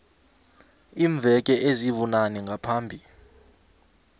iimveke ezibunane ngaphambi